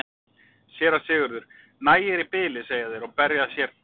SÉRA SIGURÐUR: Nægir í bili, segja þeir og berja sér til hita.